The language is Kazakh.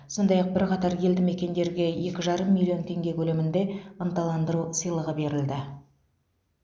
сондай ақ бірқатар елді мекендерге екі жарым миллион теңге көлемінде ынталандыру сыйлығы берілді